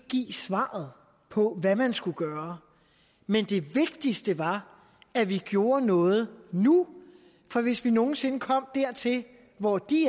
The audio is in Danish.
give svaret på hvad man skulle gøre men det vigtigste var at vi gjorde noget nu for hvis vi nogen sinde kom dertil hvor de